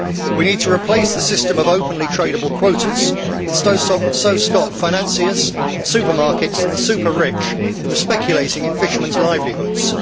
We need to replace the system of openly tradeable quotas and so stop financiers, supermarkets and the super rich from speculating in fishermen's livelihoods.